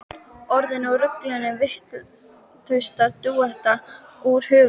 Orðin úr rullunni virtust detta úr huga hans.